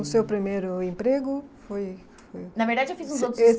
O seu primeiro emprego foi... Na verdade, eu fiz uns outros